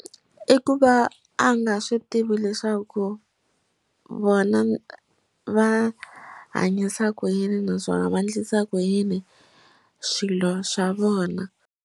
I ku va a nga swi tivi leswaku vona va hanyisa ku yini naswona va endlisa ku yini swilo swa vona.